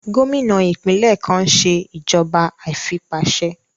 Gómìnà ìpínlẹ̀ kan n ṣe ìjọba àìfipáṣe